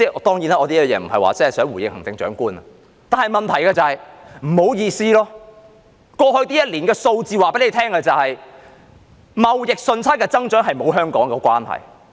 當然，我這樣說並非想回應行政長官，但問題是不好意思，過去一年的數字顯示，貿易順差的增長與香港沒有關係。